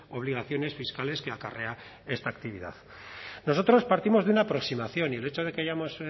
obligaciones fiscales que acarrea esta actividad nosotros partimos de una aproximación y el hecho de que hayamos